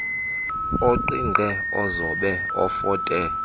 oqingqe ozobe ofote